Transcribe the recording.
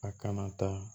A kana taa